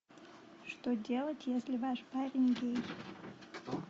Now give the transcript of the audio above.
что делать если ваш парень гей